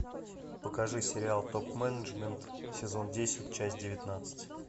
покажи сериал топ менеджмент сезон десять часть девятнадцать